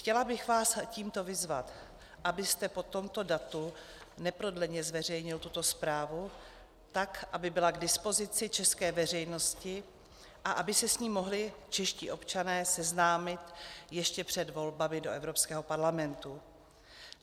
Chtěla bych vás tímto vyzvat, abyste po tomto datu neprodleně zveřejnil tuto zprávu, tak aby byla k dispozici české veřejnosti a aby se s ní mohli čeští občané seznámit ještě před volbami do Evropského parlamentu.